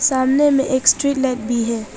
सामने में एक स्ट्रीट लाइट भी है।